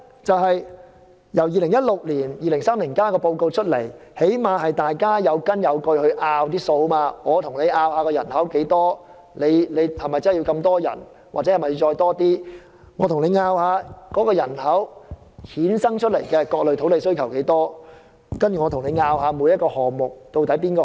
在2016年發表《香港 2030+》報告後，起碼大家能有根有據地進行辯論，例如屆時有多少人口，是否真的會有這麼多人口，又或新增人口對各類土地的需求如何，以及各個項目的優劣。